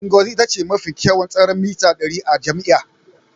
Ngozi ita ce mafi kyawun tseren mita ɗari a jami'ar